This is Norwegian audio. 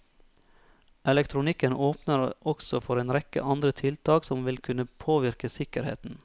Elektronikken åpner også for en rekke andre tiltak som vil kunne påvirke sikkerheten.